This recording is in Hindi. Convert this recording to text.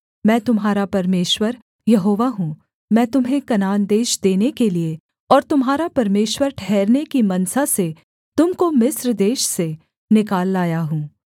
मैं तुम्हारा परमेश्वर यहोवा हूँ मैं तुम्हें कनान देश देने के लिये और तुम्हारा परमेश्वर ठहरने की मनसा से तुम को मिस्र देश से निकाल लाया हूँ